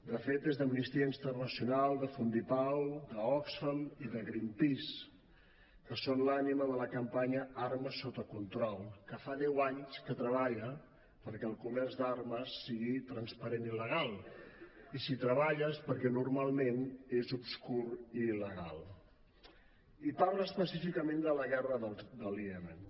de fet és d’amnistia internacional de fundipau d’oxfam i de greenpeace que són l’ànima de la campanya armes sota control que fa deu anys que treballa perquè el comerç d’armes sigui transparent i legal i si hi treballa és perquè normalment és obscur i il·legal i parla específicament de la guerra del iemen